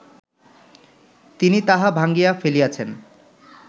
তিনি তাহা ভাঙ্গিয়া ফেলিয়াছেন